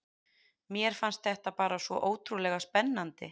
Mér fannst þetta bara svo ótrúlega spennandi.